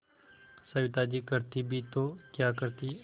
सविता जी करती भी तो क्या करती